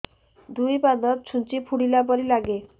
ଦୁଇ ପାଦ ଛୁଞ୍ଚି ଫୁଡିଲା ପରି ଲାଗେ